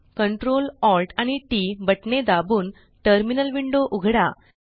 Ctrl Alt आणि टीटी बटणे दाबून टर्मिनल विंडो उघडा